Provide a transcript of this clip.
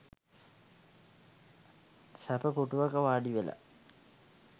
සැප පුටුවක වාඩිවෙලා